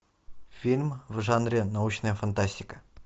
фильм в жанре научная фантастика